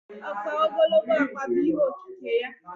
Ọkpa ogologo ọkpa bụ ihe okike ya.